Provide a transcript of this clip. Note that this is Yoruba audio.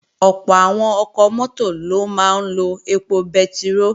Ọ̀pọ̀ àwọn ọkọ̀ mọ́tò ló máa ń lo èpò pẹtiróòlù